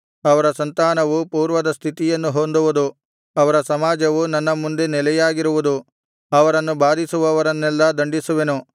ಅವರ ಸಂತಾನವು ಪೂರ್ವದ ಸ್ಥಿತಿಯನ್ನು ಹೊಂದುವುದು ಅವರ ಸಮಾಜವು ನನ್ನ ಮುಂದೆ ನೆಲೆಯಾಗಿರುವುದು ಅವರನ್ನು ಬಾಧಿಸುವವರನ್ನೆಲ್ಲಾ ದಂಡಿಸುವೆನು